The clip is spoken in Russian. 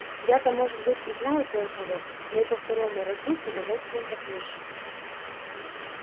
я-то может быть и знаю кое-кого но и по второму разу с удовольствием послушаю